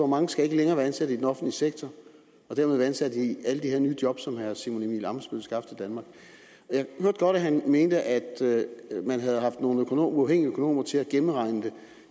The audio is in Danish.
mange skal ikke længere være ansat i den offentlige sektor og dermed være ansat i alle de her nye job som herre simon emil ammitzbøll vil skaffe til danmark jeg hørte godt at han mente at man havde haft nogle uafhængige økonomer til at gennemregne det